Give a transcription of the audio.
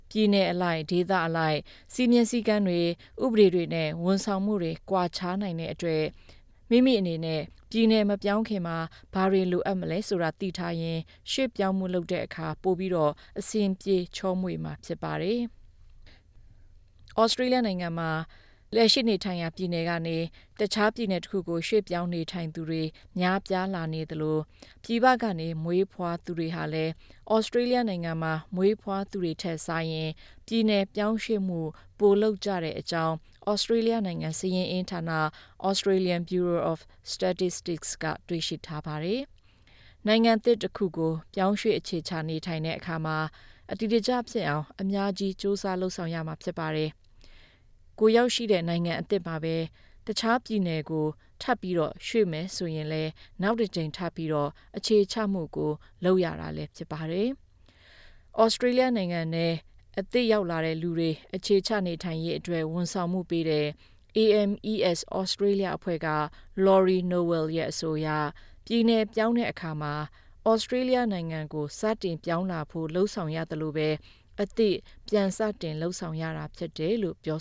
ပြည်နယ်အလိုက် ဒေသအလိုက် စည်းမျဥ်းစည်းကမ်းတွေ၊ ဥပဒေတွေနဲ့ ဝန်ဆောင်မှုတွေ ကွာခြားနိုင်တဲ့အတွက် မိမိမပြောင်းခင်မှာ ဘာတွေလိုအပ်မလဲ ဆိုတာ သိထားရင် ရွှေ့ပြောင်းမှု လုပ်တဲ့အခါ ပိုပြီး အဆင်ပြေ ချောမွေ့မှာ ဖြစ်ပါတယ်။ နေထိုင်ရာ ပြည်နယ်ကနေ ရွှေ့ပြောင်းနေထိုင်သူတွေ များပြားလာသလို ပြည်ပကနေ မွေးဖွားသူတွေဟာလည်း ဩစတြေးလျနိုင်ငံမှာ မွေးဖွားသူတွေထက်စာရင် ပြည်နယ်ပြောင်းရွှေ့မှု ပိုလုပ်ကြတဲ့အကြောင်း ဩစတြေးလျနိုင်ငံ စာရင်းအင်းဌာန Australian Bureau of Statistics က တွေ့ရှိထားပါတယ်။ နိုင်ငံသစ် တစ်ခုကို ပြောင်းရွှေ့အခြေချနေထိုင်တဲ့အခါမှာ အတည်တကျဖြစ်အောင် အများကြီး ကြိုးစားလုပ်ဆောင်ရမှာဖြစ်ပါတယ်၊ ရောက်တဲ့နိုင်ငံအသစ်မှာပဲ တခြားပြည်နယ်ကို ထပ်ရွှေ့မယ်ဆိုရင်လည်း နောက်တစ်ကြိမ်ထပ်ပြီး အခြေချမှုကို ထပ်လုပ်ရတာလည်း ဖြစ်ပါတယ်။ ဩစတြေးလျနိုင်ငံထဲ အသစ်ရောက်လာတဲ့လူတွေ အခြေချနေထိုင်ရေးအတွက် ဝန်ဆောင်မှုပေးတဲ့ AMES Australia အဖွဲ့က Laurie Nowell ရဲ့ အဆိုအရ ပြည်နယ်ပြောင်းတဲ့အခါ ဩစတြေးလျနိုင်ငံကို စတင်ပြောင်းဖို့ လုပ်ဆောင်ရသလိုပဲ ပြန်စတင်လုပ်ဆောင်ရတာဖြစ်တယ်လို့ ပြော